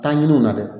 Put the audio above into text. Taa ɲini u la dɛ